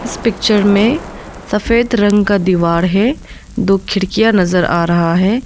इस पिक्चर में सफेद रंग का दीवार है दो खिड़कियां नजर आ रहा है।